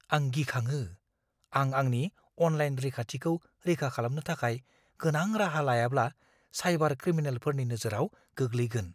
आं गिखाङो - आं आंनि अनलाइन रैखाथिखौ रैखा खालामनो थाखाय गोनां राहा लायाब्ला साइबार क्रिमिनेलफोरनि नोजोराव गोग्लैगोन!